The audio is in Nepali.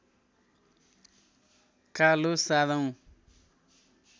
कालो सारौं